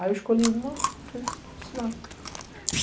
Aí eu escolhi uma e fui ensinar.